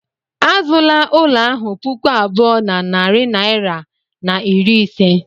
Azụla ụlọ ahụ puku abụọ na narị naira na iri ise.